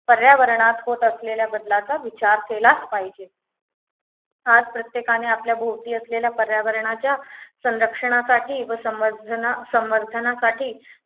पर्यावरणास होत असलेल्या बदलाचा विचार केलाच पाहिजे आज प्रत्येकाने आपल्या भोवती असलेल्या पर्यावरणाच्या संरक्षणासाठी व समर संवर्धनासाठी